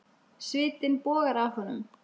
Svitinn bogar af honum.